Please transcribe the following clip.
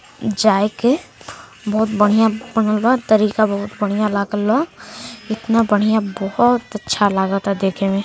जाए के। बहुत बढ़िया बनल बा। तरीका बहुत बढ़िया लागल ह। इतना बढ़िया बोहोत अच्छा लागता देखे में --